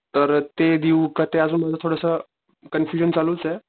तर ते देऊ का ते मला थोडासा कन्फयुशन चालूचे.